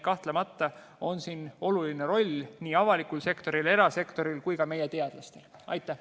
Kahtlemata on siin oluline roll nii avalikul sektoril, erasektoril kui ka meie teadlastel.